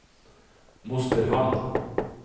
Mosterhamn